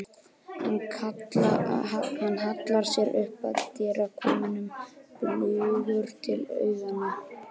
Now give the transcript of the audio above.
Hann hallar sér upp að dyrakarminum, bljúgur til augnanna.